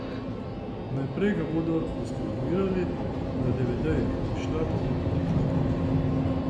Naprej ga bodo distribuirali na devedejih, izšla pa bo tudi knjiga.